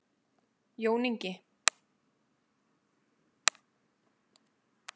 Jón Ingi.